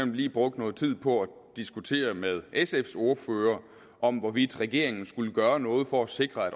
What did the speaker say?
lige brugt noget tid på at diskutere med sfs ordfører om hvorvidt regeringen skulle gøre noget for at sikre at